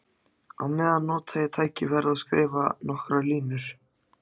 Á meðan nota ég tækifærið og skrifa nokkrar línur.